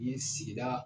Ni sigida